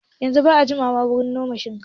Yanzun ba a jimawa wurin noman shinkafa